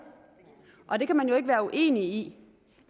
og man kan jo ikke være uenig i